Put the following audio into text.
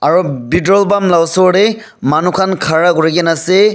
petrol pump la osor de manu khan khara kuri na ase.